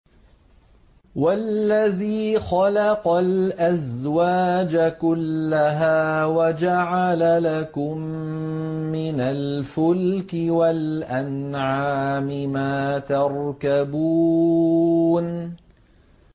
وَالَّذِي خَلَقَ الْأَزْوَاجَ كُلَّهَا وَجَعَلَ لَكُم مِّنَ الْفُلْكِ وَالْأَنْعَامِ مَا تَرْكَبُونَ